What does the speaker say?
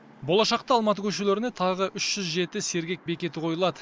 болашақта алматы көшелеріне тағы үш жүз жеті сергек бекеті қойылады